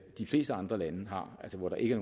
de fleste andre lande har altså hvor der ikke